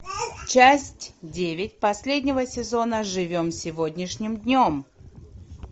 часть девять последнего сезона живем сегодняшним днем